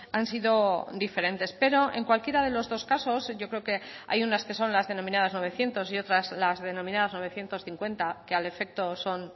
han sido diferentes pero en cualquiera de los dos casos yo creo que hay unas que son las denominadas novecientos y otras las denominadas novecientos cincuenta que al efecto son